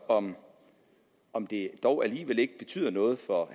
om om det dog alligevel ikke betyder noget for